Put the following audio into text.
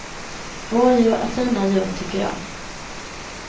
Rådjur är fina djur tycker jag.